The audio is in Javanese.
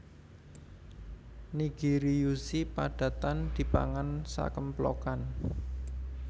Nigirizushi padatan dipangan sakemplokan